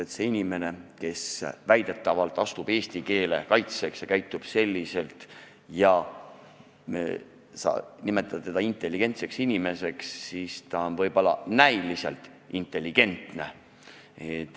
Kui see inimene, kes väidetavalt astub eesti keele kaitseks välja, käitub selliselt ja sa nimetad teda intelligentseks, siis ta võib olla näiliselt intelligentne.